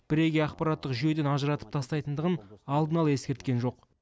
бірегей ақпараттық жүйеден ажыратып тастайтындығын алдын ала ескерткен жоқ